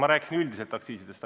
Ma rääkisin üldiselt aktsiisidest.